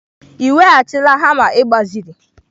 Ị weghachila hama ị gbaziri?